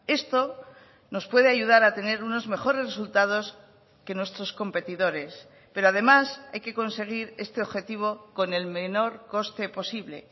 esto nos puede ayudar a tener unos mejores resultados que nuestros competidores pero además hay que conseguir este objetivo con el menor coste posible